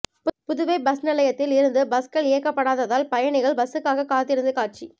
Puduvai bus நிலையத்தில் இருந்து பஸ்கள் இயக்கப்படாததால் பயணிகள் பஸ்சுக்காக காத்து இருந்த காட்சி